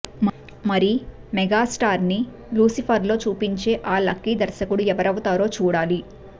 మరి మెగాస్టార్ ని లూసిఫర్ లో చూపించే ఆ లక్కీ దర్శకుడు ఎవరవుతారో చూడాలి